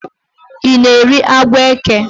You na-eri agwọ eke?